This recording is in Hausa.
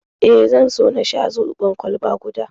Eh, zan so na sha zoɓon kwalba guda